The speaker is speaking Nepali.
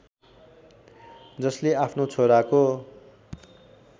जसले आफ्नो छोराको